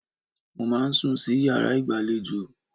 Mo máa ń sùn sí yàrá ìgbàlejò.